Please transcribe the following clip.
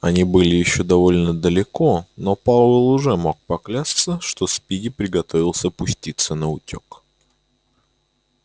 они были ещё довольно далеко но пауэлл уже мог бы поклясться что спиди приготовился пуститься наутёк